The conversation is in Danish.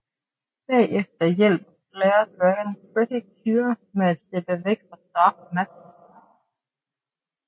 Bagefter hjælper Flare Dragon Pretty Cure med at slippe væk fra Dark Matters lejr